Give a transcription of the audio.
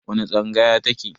Wani tsangaya ta ke?